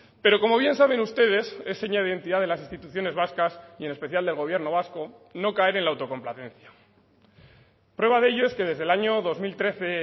pero como bien saben ustedes es seña de identidad de las instituciones vascas y en especial del gobierno vasco no caer en la autocomplacencia prueba de ello es que desde el año dos mil trece